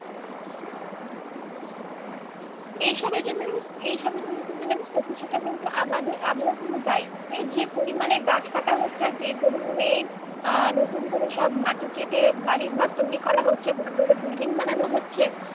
এ সবের জন্য এই সবের জন্য কিন্তু জানিস তো কিছুটা কিন্তু আমাদের, আমরাও কিন্তু দায়ী। এই যে পরিমানে গাছ কাটা হচ্ছে আর যে পরিমানে আহ নতুন করে সব মাটি কেটে বাড়ি ঘর তৈরী করা হচ্ছে বড়ো বড়ো building বানানো হচ্ছে